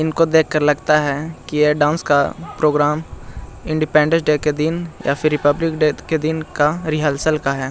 इनको देख कर लगता है कि ये डांस का प्रोग्राम इंडिपेंडेंस डे के दिन या फिर रिपब्लिक डे के दिन का रिहल-सिहल का है।